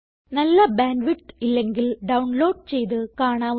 നല്ല bandwidth ഇല്ലെങ്കിൽ download ചെയ്ത് കാണാവുന്നതാണ്